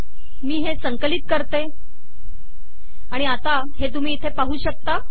मी हे संकलित करते आणि आता हे तुम्ही इथे पाहू शकता